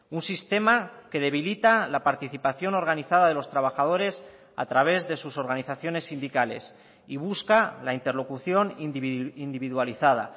un sistema que debilita la participación organizada de los trabajadores a través de sus organizaciones sindicales y busca la interlocución individualizada